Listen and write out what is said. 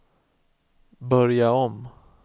börja om